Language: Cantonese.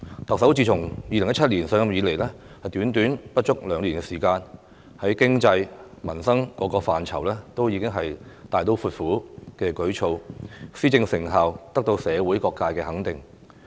特首自2017年上任以來短短不足兩年時間，在經濟、民生各個範疇都有大刀闊斧的舉措，施政成效得到社會各界的肯定。